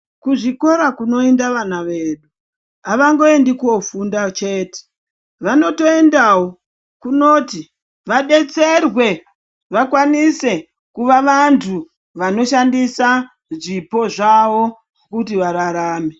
Kuzvikora kunoenda vana vedu avangoendi kofunda chete vanotoendawo kunoti vadetserwe vakwanise kuva vanthu vanoshandisa zvipo zvavo kuti vararame.